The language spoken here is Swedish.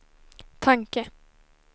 tanke